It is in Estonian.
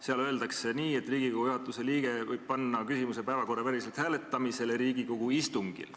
Seal öeldakse nii, et Riigikogu juhatuse liige võib panna küsimuse päevakorraväliselt hääletamisele Riigikogu istungil.